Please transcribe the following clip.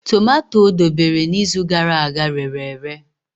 Tomato o debere n'izu gara aga rere ere.